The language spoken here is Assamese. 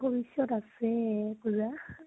তোমাৰ ভৱিষ্যত আছে পূজা